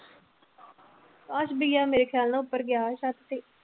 ਅਕਾਸ ਭਈਆ ਮੇਰੇ ਖਿਆਲ ਨਾਲ ਉੱਪਰ ਗਿਆ ਛੱਤ ਤੇ।